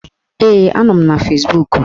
Ee, a nọ m na Fezbuk